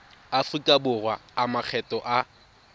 aforika borwa a makgetho a